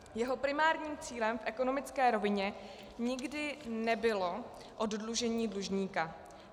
Jeho primárním cílem v ekonomické rovině nikdy nebylo oddlužení dlužníka.